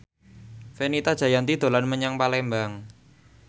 Fenita Jayanti dolan menyang Palembang